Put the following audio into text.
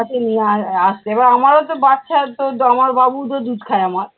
নিয়ে আ আসতো এবার আমার ও তো বাচ্চার তো দ আমার বাবুও তো দুধ খায় আমার।